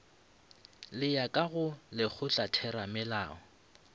le ya ka go lekgotlatheramelao